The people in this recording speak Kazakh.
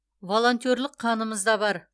волонтерлік қанымызда бар